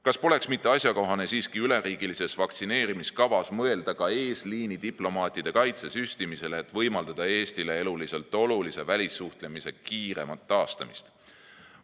Kas poleks mitte asjakohane siiski üleriigilises vaktsineerimiskavas mõelda ka eesliinidiplomaatide kaitsesüstimisele, et võimaldada Eestile eluliselt olulise välissuhtlemise kiiremat taastamist?